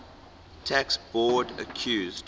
tax board accused